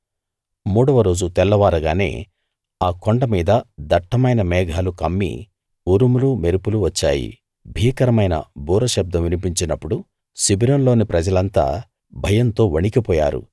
మూడవ రోజు తెల్లవారగానే ఆ కొండ మీద దట్టమైన మేఘాలు కమ్మి ఉరుములు మెరుపులు వచ్చాయి భీకరమైన బూర శబ్దం వినిపించినప్పుడు శిబిరంలోని ప్రజలంతా భయంతో వణకిపోయారు